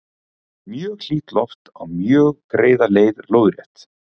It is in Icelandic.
mjög hlýtt loft á mjög greiða leið lóðrétt